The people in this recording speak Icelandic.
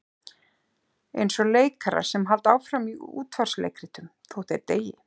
Eins og leikarar sem halda áfram í útvarpsleikritum þótt þeir deyi.